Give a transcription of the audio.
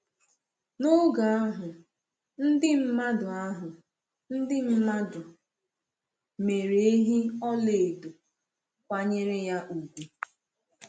N’oge ahụ, ndị mmadụ ahụ, ndị mmadụ mere ehi ọla edo, kwanyere ya ugwu.